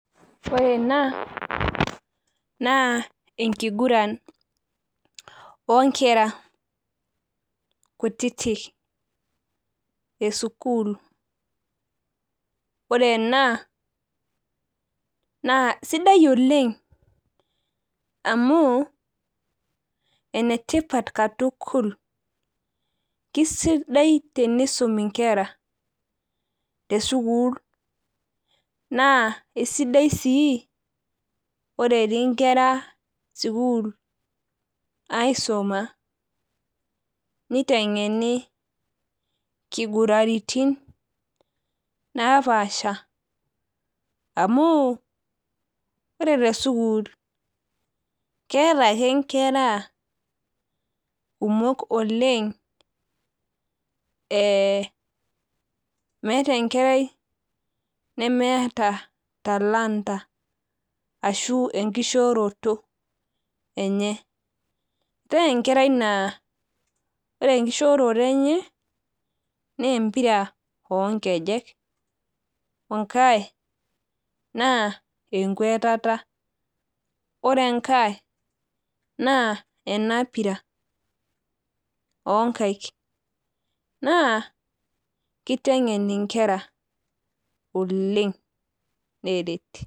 ore ena naa enkiguran oo inkera kutiti esukul ore enaa sidai oleng' amu enetipat katukul kisidai tenisumi inkera tesukul naa kisidai sii ore etii inkera sukul aisuma, niteng'eni inkiguratin naa paasha amu ore tesukul naa keeta inkera kumok oleng' meeta enkerai nemeeta talanta ashu enkishooroto enye eetae enkera naaa ore enkishoroto enye naa empira oo ingejek ore enkae naa enketata ore enkae naa ena pira , naa kiteng'en oleng neret.